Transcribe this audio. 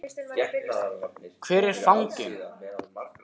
Hvar er fanginn? spurði hann og skimaði í kringum sig.